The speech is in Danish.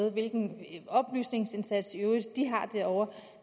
og hvilken oplysningsindsats de i øvrigt har gjort derovre